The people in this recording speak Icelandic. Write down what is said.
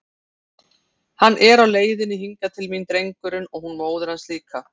Hann er á leiðinni hingað til mín, drengurinn, og hún móðir hans líka!